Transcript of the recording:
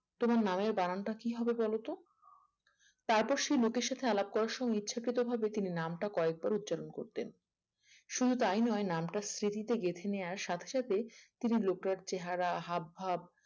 তোমার নামের বানানটা কি হবে বলো তো তারপর সেই লোকের সাথে আলাপ করার সময়ে ইচ্ছাকৃতভাবে তিনি নামটা কয়েকবার উচ্চারণ করতেন শুধু তাই নয় নামটা স্মৃতিতে গেঁথে নেওয়ার সাথে সাথে তিনি লোকের চেহারা হাবভাব